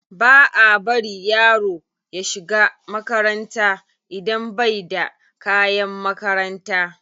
Ba a bari yaro ya shiga makaranta idan bai da kayan makaranta.